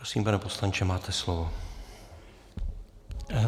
Prosím, pane poslanče, máte slovo.